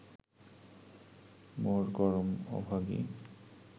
মোর করম অভাগী